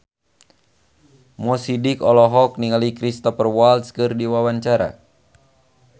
Mo Sidik olohok ningali Cristhoper Waltz keur diwawancara